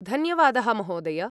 धन्यवादः, महोदय।